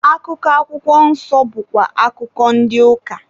Akụkọ akwụkwọ nsọ bụkwa akụkọ ndị ụka.